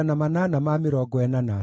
na cia Adini ciarĩ 655